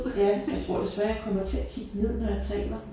Ja. Jeg tror desværre jeg kommer til at kigge ned når jeg taler